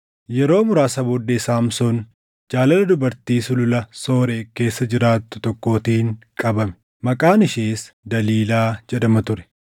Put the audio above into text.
Yeroo muraasa booddee Saamsoon jaalala dubartii sulula Sooreeq keessa jiraattu tokkootiin qabame; maqaan ishees Daliilaa jedhama ture.